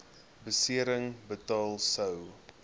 besering betaal sou